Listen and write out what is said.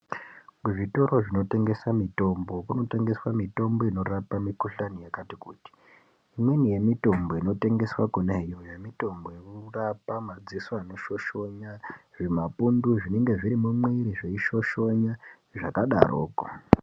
Kuzvitoro zvinotengese mitombo kunotengeswa mitombo inorape mikuhlani yakati kuti imweni yemitombo inotengeswe kona iyoyo inorapa madziso anoshoshona zvimapundu zvinenge zviri mumwiri zveishoshona zvakdaroko.